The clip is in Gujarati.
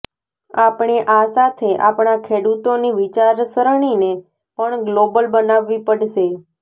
આપણે આ સાથે આપણા ખેડૂતોની વિચારસરણીને પણ ગ્લોબલ બનાવવી પડશે